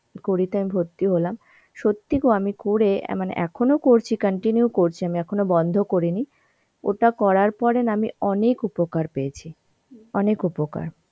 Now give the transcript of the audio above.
কুড়িতে আমি ভর্তি হলাম, সত্যি গো আমি করে অ্যাঁ মানে এখনো করছি, continue করছি আমি এখনো বন্ধ করিনি. ওটা করার পরে না আমি অনেক উপকার পেয়েছি. অনেক উপকার.